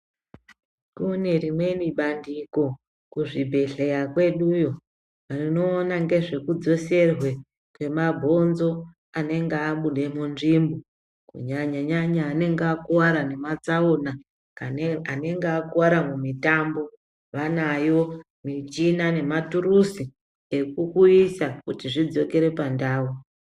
Kune rimweni bandiko kuzvibhedhleya kweduyo rinoona ngezvekudzoserwe kwemabhonzo anenge abuda munzvimbo kunyanyanyanya anenge akuwara ngematsaona kana anenge akuwara mumitambo vanayo michina nematuruzi ekukuisa kuti zvidzokere pandau.